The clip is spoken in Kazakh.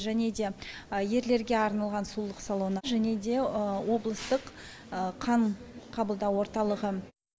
және де ерлерге арналған сұлулық салоны және де облыстық қан қабылдау орталығы